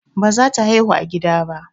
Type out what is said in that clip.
Baza ta haihu a gida ba.